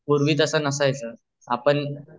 पूर्वी तास नसायचं आपण